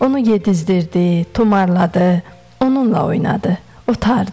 Onu yedizdirirdi, tumarladı, onunla oynadı, otardı.